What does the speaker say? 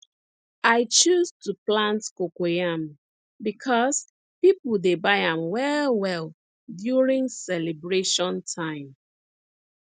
i choose to plant cocoyam becos people dey buy am well well during celebration time